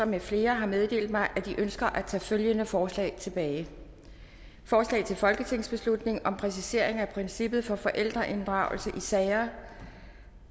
med flere har meddelt mig at de ønsker at tage følgende forslag tilbage forslag til folketingsbeslutning om præcisering af princippet for forældreinddragelse i sager